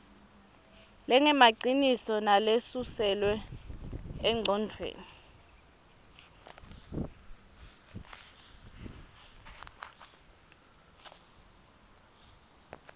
lengemaciniso nalesuselwe engcondvweni